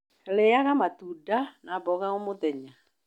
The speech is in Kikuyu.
Rĩaga matunda na mboga omũthenya